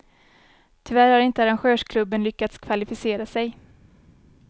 Tyvärr har inte arrangörsklubben lyckats kvalificera sig.